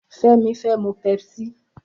Femi fè mú pèpsí